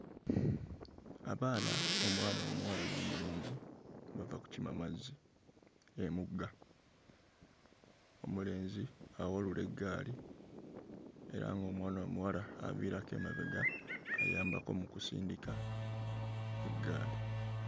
Abaana omwana omuwala n'omulenzi bava kukima mazzi emugga. Omulenzi awalula eggaali era ng'omwana omuwala aviirako emabega ayambako mu kusindika eggaali.